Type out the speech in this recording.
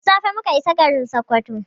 Da safe muka isa garin Sokoto.